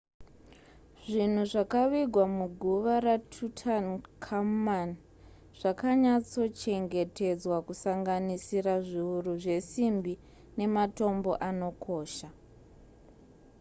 zvinhu zvakavigwa muguva ratutankhamun zvakanyatsochengetedzwa kusanganisira zviuru zvesimbi nematombo anokosha